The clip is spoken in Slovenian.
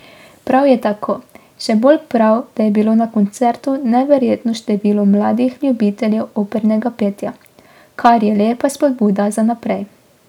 Prav je tako, še bolj prav, da je bilo na koncertu neverjetno število mladih ljubiteljev opernega petja, kar je lepa spodbuda za naprej.